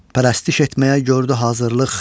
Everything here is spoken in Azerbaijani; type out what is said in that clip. Pərəstiş etməyə gördü hazırlıq.